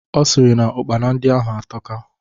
Ọ sịrị na Ụkpana ndị ahụ atọka